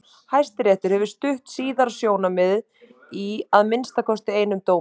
Hæstiréttur hefur stutt síðara sjónarmiðið í að minnsta kosti einum dómi.